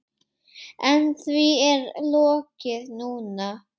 En því er lokið núna.